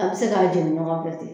A bi se k'a ɲɔgɔn fɛ